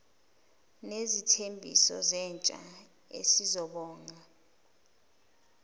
nesithembiso sentsha esizobonga